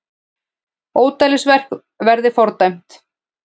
Ódæðisverk verði fordæmt